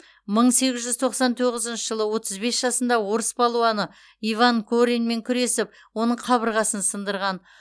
мың сегіз жүз тоқсан тоғызыншы жылы отыз бес жасында орыс палуаны иван кореньмен күресіп оның қабырғасын сындырған